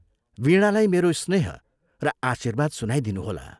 वीणालाई मेरो स्नेह र आशीर्वाद सुनाइदिनुहोला।